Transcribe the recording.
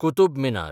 Qutub Minar